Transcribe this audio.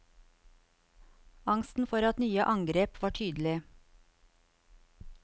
Angsten for at nye angrep var tydelig.